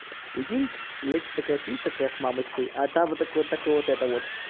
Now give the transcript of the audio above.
прикинь лекс такая сидит такая с мамочкой а там вот так вот так вот это вот